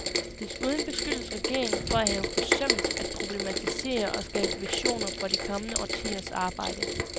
Desuden beskyldes regeringen for at have forsømt at problematisere og skabe visioner for de kommende årtiers arbejde.